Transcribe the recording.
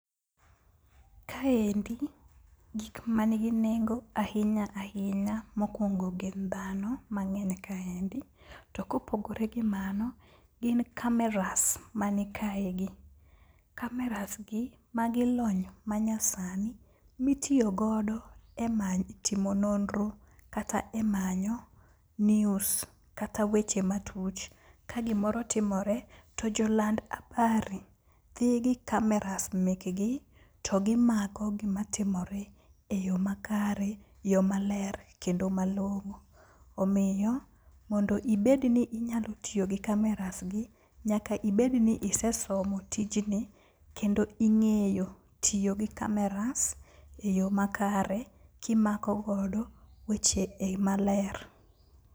Kaendi gik manigi nengo ahinya ahinya mokwongo gin dhano mang'eny kaendi, to kopogore gi mano gin kameras mani kaegi. Kameras gi magi lony manyasani mitiyogodo e timo nonro kata e manyo news kata weche matuch. Ka gimoro otimore to joland abari dhi gi kameras mekgi to gimako gimatimore e yo makare, yo maler kendo malong'o. Omiyo mondo ibedni inyalo tiyogi kamerasgi, nyaka ibed ni isesomo tijni kendo ing'eyo tiyo gi kameras e yo makare kimako godo weche maler.